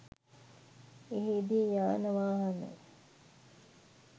එහිදී යාන වාහන